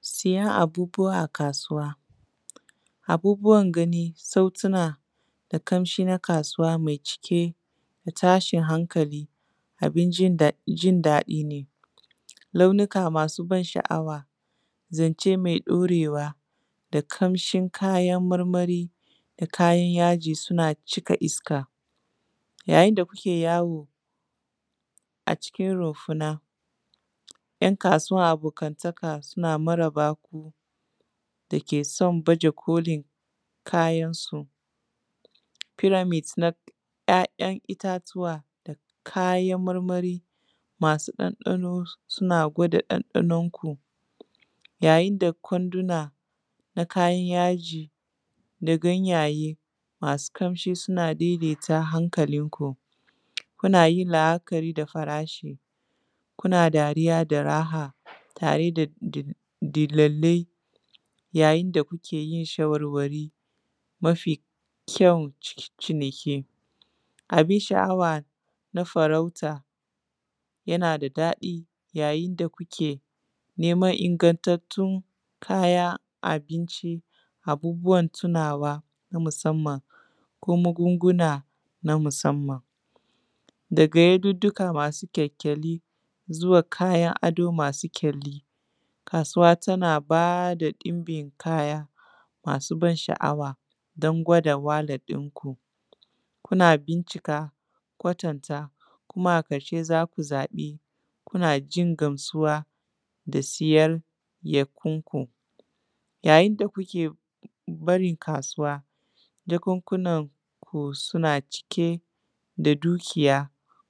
Siyan abubuwa a kasuwa, abubuwan gani sautuna da kamshi na kasuwa mai cike da tashin hankali abin jin daɗi ne launuka masu ban sha’awa zance mai ɗaurewa da kamshin kayan marmari da kayan yaji suna shika iska, yayin da kuke yawo a cikin runfuna ‘yan kasuwa abokantaka suna maraba da ku dake sun baja kolin kayan su peramite na ‘ya’yan itatuwa da kayan marmari masu ɗanɗano suna gwada ɗanɗanon ku, yayin da kwanduna na kayan yaji da ganyaye masu kamshi suna daidaita hankalin ku kuna yin la’akari da farashi kuna dariya da raha tare da dullalai yayin da kuke yin shawarwari mafi kyan ciniki abin sha’awa na farauta yana da daɗi yayin da kuke neman ingantattun kayan abinci abubuwan tunawa na musamman ko magunguna na musamman daga yadudduka masu kyalkyali zuwa kayan ado masu kyali, kasuwa tana bada ɗunbin kaya masu ban sha’awa don gwada wallet inku kuna bincika kwatanta kuma a karshe zaku zabi kuna jin gamsuwa da siyan yakunku yayin da kuke barin kasuwa jakunkuna ku suna cike da dukiya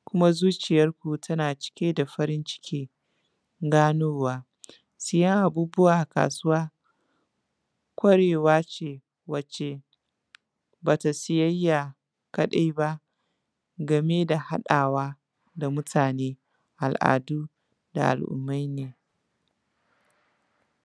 kuma zuciyanku tana cike da farin ciki ganowa, siyan abubuwa a kasuwa kwarewa ce wace bata siyayya kadai ba game da haɗawa da mutane al’adu da al’ummai ne.